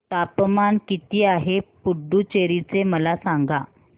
तापमान किती आहे पुडुचेरी चे मला सांगा